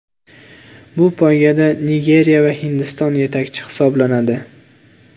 Bu poygada Nigeriya va Hindiston yetakchi hisoblanadi.